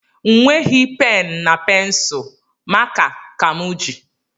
Nweghi m pen na pensul maka ka m ji